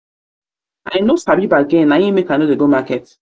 no sabi bargain na im make i no dey go market.